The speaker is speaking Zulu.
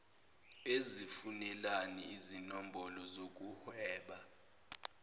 uzifunelani izinombholo zokuhweba